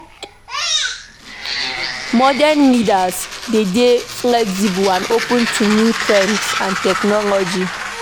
Modern leaders de dey flexible and open to new trends and technology